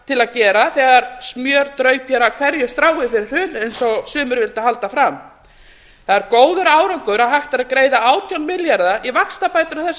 til að gera þegar smjör draup hér af hverju strái fyrir hrun eins og sumir vildu halda fram það er góður árangur að hægt er að greiða átján milljarða í vaxtabætur á þessu